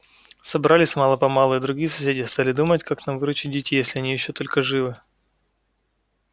собрались мало-помалу и другие соседи стали думать как нам выручить детей если они ещё только живы